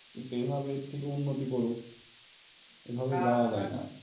কিন্তু এভাবে থেকে উন্নতি করুক এভাবে যাওয়া যায় না আর